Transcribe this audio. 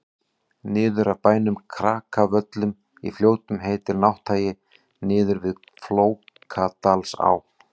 niður af bænum krakavöllum í fljótum heitir nátthagi niður við flókadalsá